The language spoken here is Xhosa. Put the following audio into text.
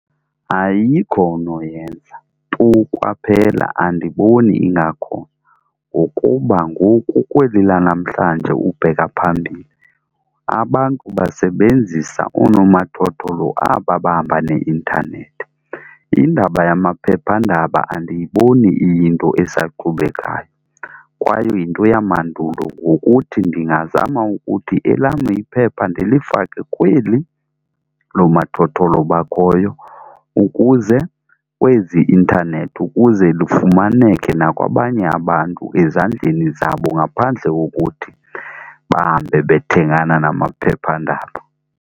Ayikho onoyenza tu kwaphela. Andiboni ingakhona, ngokuba ngoku kweli lanamhlanje ukubheka phambili abantu basebenzisa onomathotholo aba bahamba ne-intanethi. Indaba yamaphephandaba andiyiboni iyinto esaqhubekayo kwaye yinto yamandulo, ngokuthi ndingazama ukuthi elam iphepha ndilifake kweli lomathotholo bakhoyo ukuze kwezi i-intanethi ukuze lufumaneke nakwabanye abantu ezandleni zabo ngaphandle kokuthi bahambe bethengana namaphephandaba.